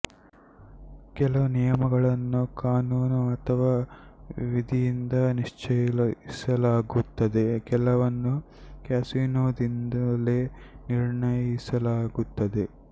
ಕೆಲವು ನಿಯಮಗಳನ್ನು ಕಾನೂನು ಅಥವಾ ವಿಧಿಯಿಂದ ನಿಶ್ಚಯಿಸಲಾಗುತ್ತದೆ ಕೆಲವನ್ನು ಕ್ಯಾಸಿನೊದಿಂದಲೇ ನಿರ್ಣಯಿಸಲಾಗುತ್ತದೆ